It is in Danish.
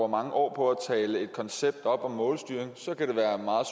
mange år på at tale et koncept op om målstyring så kan det være meget